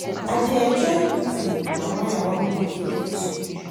I dey enjoy cooking, na why I wan go catering school